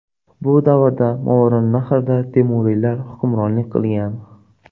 Bu davrda Movarounnahrda temuriylar hukmronlik qilgan.